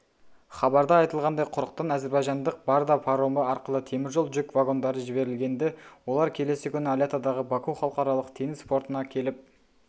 хабарда айтылғандай құрықтан әзербайжандық барда паромы арқылы темір жол жүк вагондары жіберілгенді олар келесі күні алятадағы баку халықаралық теңіз портына келіп